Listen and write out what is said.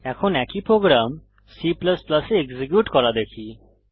এখন একই program C এ এক্সিকিউট করা দেখি